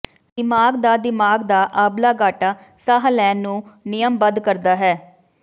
ਦਿਮਾਗ ਦਾ ਦਿਮਾਗ ਦਾ ਆਬਲਾਗਾਟਾ ਸਾਹ ਲੈਣ ਨੂੰ ਨਿਯਮਬੱਧ ਕਰਦਾ ਹੈ